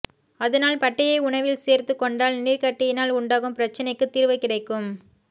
அதனால் பட்டையை உணவில் சேர்த்துக்கொண்டால் நீர்க்கட்டியினால் உண்டாகும் பிரச்சனைக்கு தீர்வு கிடைக்கும்